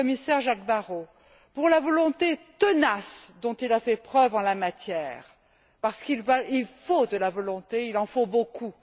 le commissaire Jacques Barrot pour la volonté tenace dont il a fait preuve en la matière, parce qu'il faut de la volonté, il en faut beaucoup.